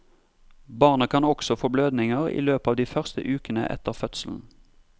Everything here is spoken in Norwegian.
Barnet kan også få blødninger i løpet av de første ukene etter fødselen.